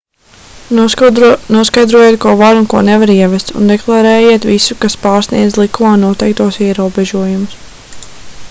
noskaidrojiet ko var un ko nevar ievest un deklarējiet visu kas pārsniedz likumā noteiktos ierobežojumus